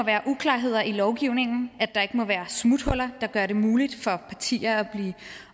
er uklarheder i lovgivningen at der ikke er smuthuller der gør det muligt for partier at blive